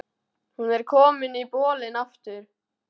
Hún var komin í bolinn aftur.